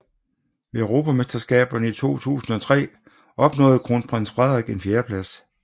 Ved Europamesterskaberne i 2003 opnåede Kronprins Frederik en fjerdeplads